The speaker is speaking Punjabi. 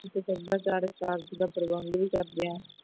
ਅਸੀ ਸਭਿਆਚਾਰ ਸਾਲ ਦੇ ਵਿਚ ਤੇ ਉਂਝ ਵੀ ਕਰਦੇ ਹਾਂ